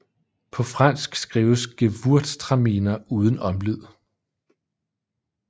På fransk skrives Gewurtztraminer uden omlyd